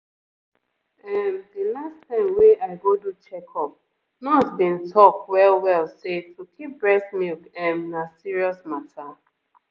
ehm the last time wey i go do checkup nurse bin talk well well say to keep breast milk ehmm na serious mata.